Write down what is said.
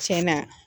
Tiɲɛna